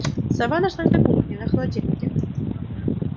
сова нашлась на кухне на холодильнике